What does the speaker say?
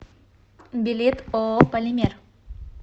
билет ооо полимер